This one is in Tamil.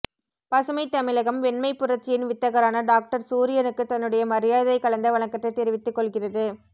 பசுமை தமிழகம் வெண்மை புரட்சியின் வித்தகரான டாக்டர் குரியனுக்கு தன்னுடைய மரியாதை கலந்த வணக்கத்தை தெரிவித்து கொள்கிறது